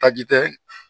Taji tɛ